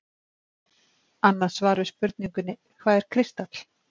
annað svar við spurningunni „hvað er kristall“